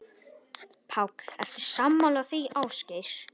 Páll: Ertu sammála því, Ásgeir?